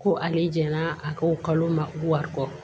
Ko ale jɛnna a ko kalo ma wari kɔ